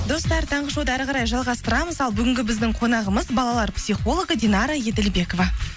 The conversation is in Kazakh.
достар таңғы шоуды әрі қарай жалғастырамыз ал бүгінгі біздің қонағымыз балалар психологы динара еділбекова